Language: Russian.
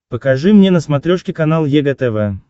покажи мне на смотрешке канал егэ тв